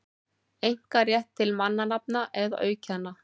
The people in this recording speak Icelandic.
einkarétt til mannanafna eða auðkenna.